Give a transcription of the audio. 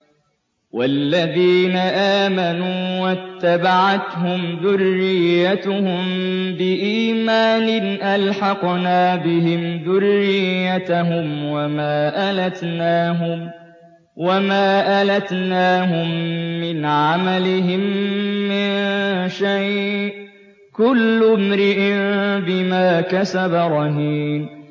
وَالَّذِينَ آمَنُوا وَاتَّبَعَتْهُمْ ذُرِّيَّتُهُم بِإِيمَانٍ أَلْحَقْنَا بِهِمْ ذُرِّيَّتَهُمْ وَمَا أَلَتْنَاهُم مِّنْ عَمَلِهِم مِّن شَيْءٍ ۚ كُلُّ امْرِئٍ بِمَا كَسَبَ رَهِينٌ